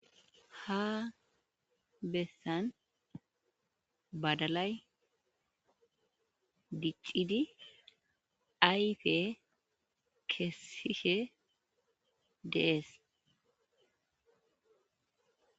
ha bessan badalay diccidi ayfe keessishe dees